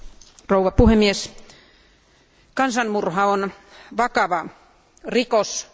Arvoisa puhemies, kansanmurha on vakava rikos.